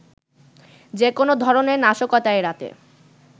যেকোনো ধরণের নাশকতা এড়াতে